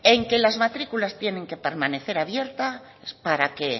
en que las matriculas tienen que permanecer abiertas para que